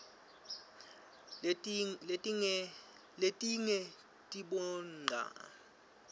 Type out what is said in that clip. letinge tiboncsa reyefashini